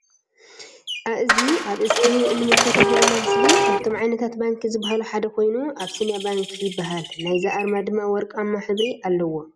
አእዚ አብ እስክሪን እንምልከቶ ዘለና ምስሊ ካብቶም ዓይነታት ባንኪ ዝበሃሉ ሓደ ኮይኑ አቢሲንያ ባንክ ይበሃል ::ናይዚ አርማ ድማ ወርቃማ ሕብሪ አለዎ::